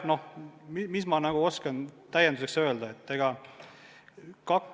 Mis ma oskan täienduseks öelda?